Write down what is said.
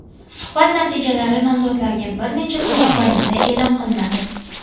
Suhbat natijalari nomzodlarga bir necha kun mobaynida e’lon qilinadi.